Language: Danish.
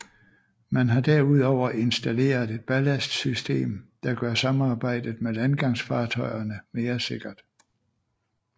Man har derudover installeret et ballastsystem der gør samarbejdet med landgangsfartøjerne mere sikkert